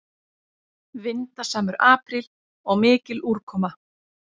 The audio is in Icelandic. Vindasamur apríl og mikil úrkoma